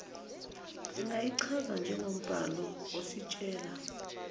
singayichaza njengombhalo ositshela